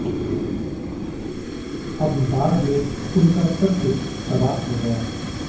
अब बाढ़ में उनका सब कुछ तबाह हो गया